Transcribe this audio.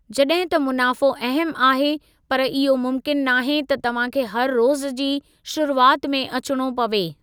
जॾहिं त मुनाफ़ो अहमु आहे, पर इहो मुमकिनु नाहे त तव्हां खे हर रोज़ु जी शुरूआति में अचिणो पवे।